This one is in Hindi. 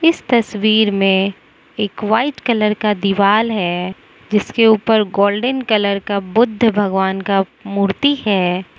इस तस्वीर में एक वाइट कलर का दिवाल है जिसके ऊपर गोल्डन कलर का बुद्ध भगवान का मूर्ति है।